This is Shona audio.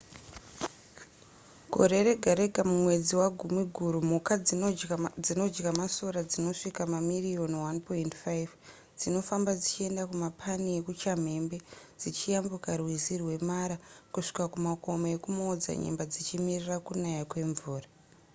gore rega rega mumwedzi wagumiguru mhuka dzinodya masora dzinosvika mamiriyoni 1.5 dzinofamba dzichienda kumapani ekuchamhembe dzichiyambuka rwizi rwemara kubva kumakomo ekumaodzanyemba dzichimirira kunaya kwemvura